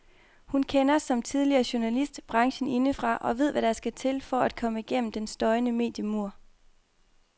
Hun kender, som tidligere journalist, branchen indefra og ved hvad der skal til for at komme gennem den støjende mediemur.